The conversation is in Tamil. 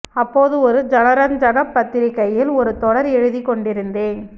அப்போது ஒரு ஜனரஞ்சகப் பத்திரிகையில் ஒரு தொடர் எழுதிக் கொண்டிருந்தேன்